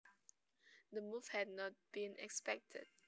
The move had not been expected